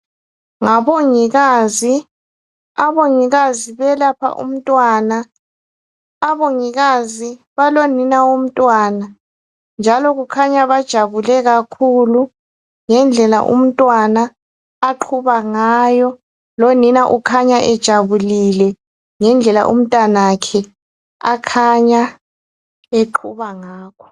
Ngabongikazi. Abongikazi belapha umntwana. Abongikazi balonina womntwana, njalo kukhanya bajabule kakhulu ngendlela umntwana aqhuba ngayo. Lonina ukhanya ejabulile ngendlela umntanakhe akhanya aqhuba ngakho.